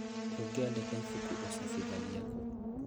ũngĩandĩka ibuku ũcabithagia kũ?